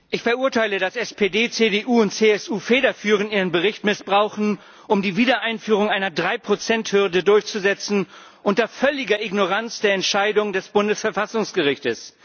Frau Präsidentin! Ich verurteile, dass SPD, CDU und CSU federführend ihren Bericht missbrauchen, um die Wiedereinführung einer Drei Prozent Hürde durchzusetzen, unter völliger Ignoranz der Entscheidung des Bundesverfassungsgerichts.